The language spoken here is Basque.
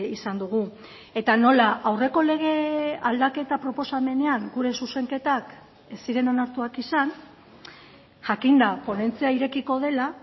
izan dugu eta nola aurreko lege aldaketa proposamenean gure zuzenketak ez ziren onartuak izan jakinda ponentzia irekiko dela